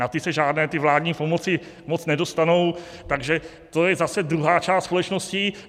Na ty se žádné ty vládní pomoci moc nedostanou, takže to je zase druhá část společnosti.